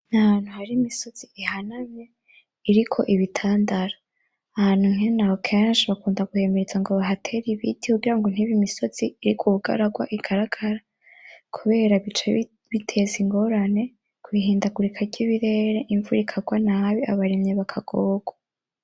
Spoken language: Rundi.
N'ahantu har'imisozi ihanamye, iriko ibitandara. Ahantu nke naho kenshi bakunda kwemeza bahatere ibiti kugira ntibe imisozi iriko ubugararwa igaragara, kubera bica biteza ingorane kw'ihindagurika ry'ibirere imvura ikarwa nabi abarimyi bakagorwa.